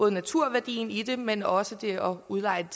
naturværdien i den men også det at udleje